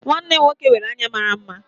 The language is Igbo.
Nwanne m nwoke nwere anya mara mma